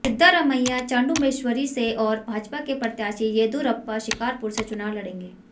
सिद्धारमैया चामुडेश्वरी से और भाजपा के प्रत्याशी येदियुरप्पा शिकारपुर से चुनाव लड़ेंगे